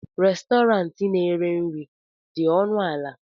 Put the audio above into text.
Restọrantị na-ere nri dị ọnụ ala?